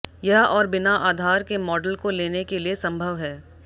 यह और बिना आधार के मॉडल को लेने के लिए संभव है